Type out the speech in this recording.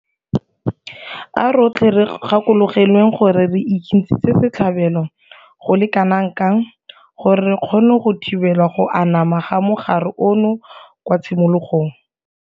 A rotlhe re gakologelweng gore re ikentshitse setlhabelo go le kanakang gore re kgone go thibela go anama ga mogare ono kwa tshimologong.